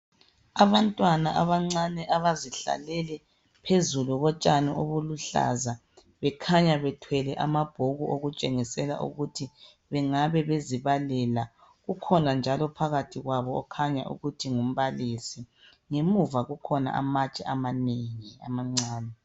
Abantwana abancane abazihlalele phezulu kotshani obuluhlaza bekhanya bethwele amabhuku okutshengisela ukuthi bengaba bezibalela. Kukhona njalo phakathi kwabo okhanya ukuthi ngumbalisi. Ngemuva kukhona amatshe amanengi amancane.